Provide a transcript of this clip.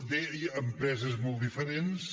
bé hi ha empreses molt diferents